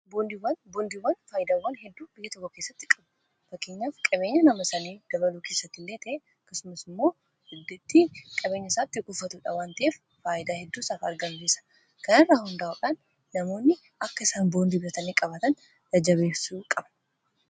Boondiiwwan. boondiiwwan faayidawwa hedduu biyya tokko keessatti qabuu fakkeenyaaf qabeenya nama sanii dabaluu keessatti illee ta'e akkasumas immoo dandettii qabeenya isaatti kuufatudha wan ta'ef faayidaa hedduu isaaf argamsiisa kana irraa hundaa'uudhaan namoonni akka isaan boondi bitatanii qabaatan jajjabeessuu qabu